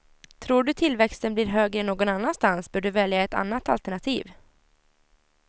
Tror du tillväxten blir högre någon annanstans bör du välja ett annat alternativ.